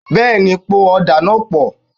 Bẹ́ẹ̀ni, po ọ̀dà náà pọ̀